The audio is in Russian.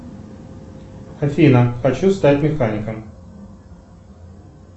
афина хочу стать механиком